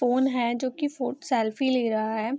Phone है जो कि फो- सेल्फी ले रहा है।